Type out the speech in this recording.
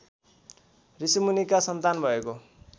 ऋषिमुनिका सन्तान भएको